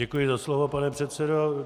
Děkuji za slovo pane předsedo.